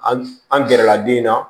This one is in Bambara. An an gɛrɛla den na